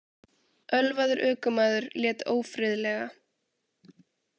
Ölvaður ökumaður lét ófriðlega